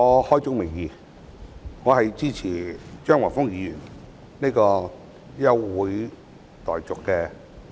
開宗明義，我支持張華峰議員這項休會待續議案。